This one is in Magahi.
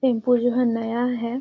टेंपू जो है नया है।